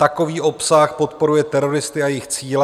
Takový obsah podporuje teroristy a jejich cíle.